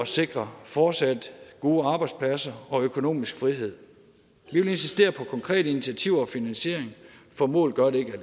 sikre fortsat gode arbejdspladser og økonomisk frihed vi vil insistere på konkrete initiativer og finansiering for mål gør det ikke